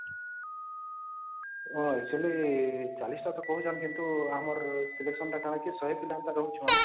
actually ୪୦ ଟା କହୁଛନ୍ତି କିନ୍ତୁ ଆମର selection ଟା କଣ କି ୧୦୦ ପିଲାଙ୍କ ପାଇଁ ରହୁଛନ